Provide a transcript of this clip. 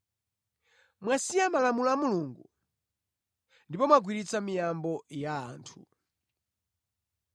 Mwasiya malamulo a Mulungu ndipo mwagwiritsitsa miyambo ya anthu.”